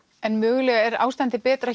en mögulega er ástandið betra